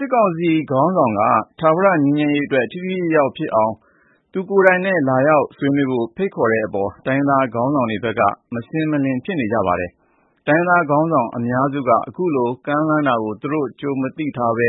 စစ်ကောင်စီခေါင်းဆောင်က ထာဝရငြိမ်းချမ်းရေးအတွက် ထိထိရောက်ရောက်ဖြစ်အောင် သူကိုယ်တိုင်နဲ့ လာဆွေးနွေးဖို့ ဖိတ်ခေါ်တဲ့အပေါ် တိုင်းရင်းသား ခေါင်းဆောင်တွေဘက်က မရှင်းလင်းဘူး ဖြစ်နေပါတယ်။ အများစု တိုင်းရင်းသားခေါင်းဆောင်တွေက အခုလို ကမ်းလှမ်းမှာကို ကြိုမသိထားဘဲ